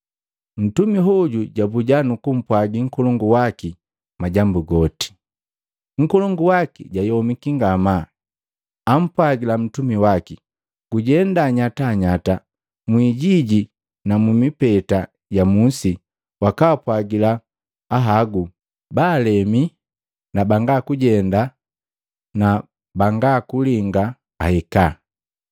Mtumi hoju jabuja nukumpwagi nkolongu waki majambu goti. Nkolongu waki jayomiki ngamaa, ampwagila mtumi waki, ‘Gujenda nyatanyata mwijiji na mumipeta ya musi wakapwajila ahagu, baalemi na banga kujenda na banga kulinga ahika.’